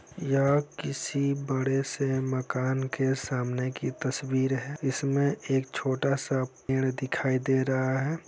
यह किसी बड़े से मकान के सामने की तस्वीर है इसमे एक छोटा सा पेड़ दिखाई दे रहा है।